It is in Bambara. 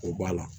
O b'a la